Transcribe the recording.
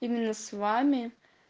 именно с вами